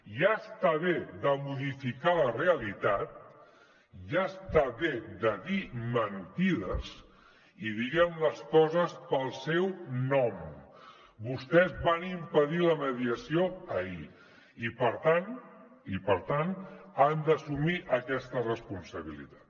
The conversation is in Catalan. ja està bé de modificar la realitat ja està bé de dir mentides i diguem les coses pel seu nom vostès van impedir la mediació ahir i per tant i per tant han d’assumir aquesta responsabilitat